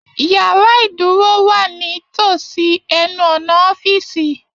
Yàrá ìdúró wa nítòsí ẹnu ọnà ọ̀fiísí.